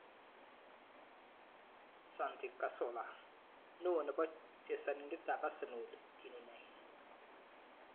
Santi Cazorla:Ne o nebo chesanindetab Arsenal kinunei.